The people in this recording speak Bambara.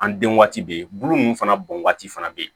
An den waati be yen bulu nunnu fana bɔn waati fana be yen